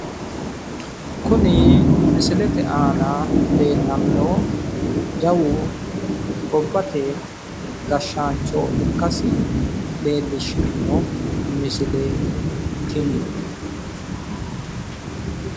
Kuni misilete aana leellanno jawu gobbate gashshaancho ikkasi leellishshanno misileeti tini.